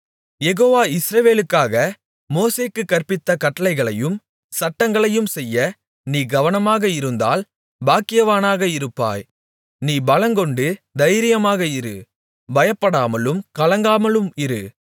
யெகோவா இஸ்ரவேலுக்காக மோசேக்குக் கற்பித்த கட்டளைகளையும் சட்டங்களையும் செய்ய நீ கவனமாக இருந்தால் பாக்கியவானாக இருப்பாய் நீ பலங்கொண்டு தைரியமாக இரு பயப்படாமலும் கலங்காமலும் இரு